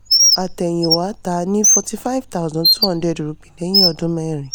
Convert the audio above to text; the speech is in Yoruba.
àtẹ̀yìnwá: tà ní ₹45200 lẹ́yìn ọdún mẹ́rin.